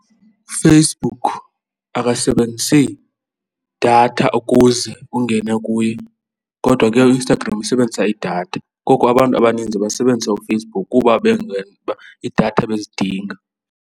UFacebook abasebenzisi datha ukuze ungene kuye kodwa ke uInstagram isebenzisa idatha. Koko abantu abaninzi basebenzisa uFacebook kuba iidatha bezidinga.